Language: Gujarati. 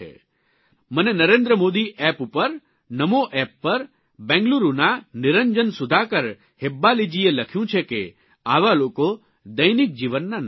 મને નરેન્દ્ર મોદી એપ ઉપર નમો એપ પર બેંગલુરૂના નિરંજન સુધાકર હેબ્બાલીજીએ લખ્યું છે કે આવા લોકો દૈનિક જીવનના નાયક છે